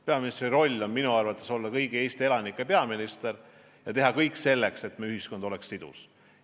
Peaministri roll on minu arvates olla kõigi Eesti elanike peaminister ja teha kõik selleks, et meie ühiskond oleks sidus.